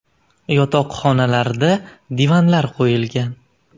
Yotoqxonalarda divanlar qo‘yilgan.